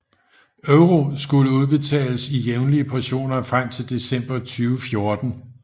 EUR skulle udbetales i jævnlige portioner frem til december 2014